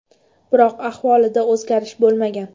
Biroq ahvolida o‘zgarish bo‘lmagan.